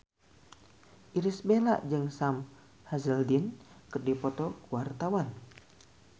Irish Bella jeung Sam Hazeldine keur dipoto ku wartawan